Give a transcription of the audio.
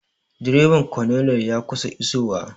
Direban colonel ya kusan iso wa